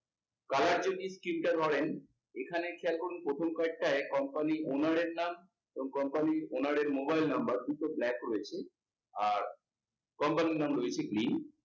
colour যদি তিনটে ধরেন, এখানে খেয়াল করুন প্রথম কয়েকটায় company র owner এর নাম এবং company র owner এর mobile number দুটো black রয়েছে। আর, company র নাম রয়েছে green